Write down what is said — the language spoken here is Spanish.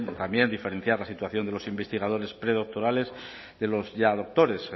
también diferenciar la situación de los investigadores predoctorales de los ya doctores